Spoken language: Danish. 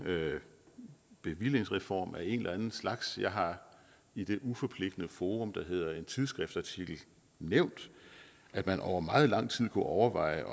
bevillingsreform af en eller anden slags jeg har i det uforpligtende forum der hedder en tidsskriftsartikel nævnt at man over meget lang tid kunne overveje